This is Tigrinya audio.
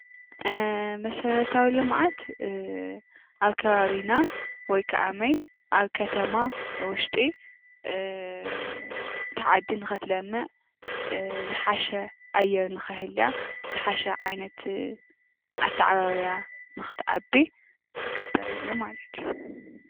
መሰረታዊ ልምዓት ኣብ ከባቢና ወይ ከዓ ነይ ኣብ ከተማ ውሽጢ ታዓዲ ንኸትለምዕ ዝሓሸ ኣየር ንኽህልያ ዝሓሸ ዓይነት ኣተዓባብያ ንኽትዓቢ ዝግበር እዩ ማለት እዩ።